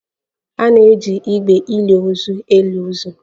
A na-eji igbe ili ozu eli ozu